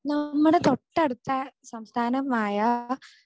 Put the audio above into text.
നമ്മുടെ തൊട്ടടുത്ത സംസ്ഥാനമായ